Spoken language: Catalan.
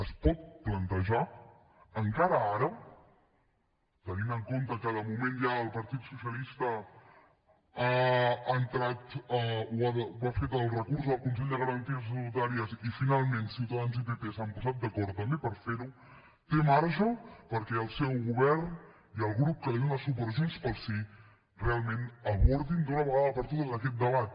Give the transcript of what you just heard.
es pot plantejar encara ara tenint en compte que de moment ja el partit socialista ha entrat o ha fet el recurs al consell de garanties estatutàries i finalment ciutadans i pp s’han posat d’acord també per fer ho té marge perquè el seu govern i el grup que li dóna suport junts pel sí realment abordin d’una vegada per totes aquest debat